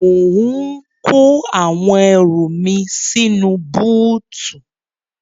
Mò ń kó àwọn ẹrù mi sínú búùtù.